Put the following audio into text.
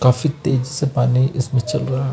काफी तेज से पानी इसमें चल रहा--